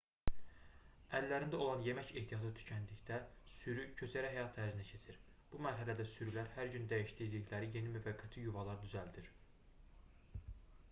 əllərində olan yemək ehtiyatı tükəndikdə sürü köçəri həyat tərzinə keçir bu mərhələdə sürülər hər gün dəyişdirdikləri yeni müvəqqəti yuvalar düzəldir